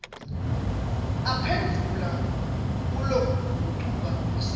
aphendvula kulokugucuka kwesimo